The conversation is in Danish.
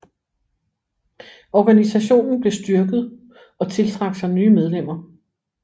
Organisationen blev styrket og tiltrak sig nye medlemmer